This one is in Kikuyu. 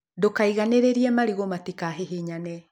Ndũkaiganĩrĩre marĩgũ matikahihinyane.